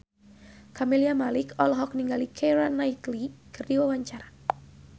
Camelia Malik olohok ningali Keira Knightley keur diwawancara